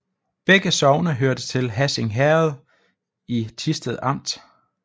Begge sogne hørte til Hassing Herred i Thisted Amt